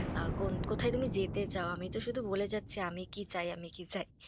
কোথায় তুমি যেতে চাও, আমি তো শুধু বলে যাচ্ছি, আমি কি চাই আমি কি চাই।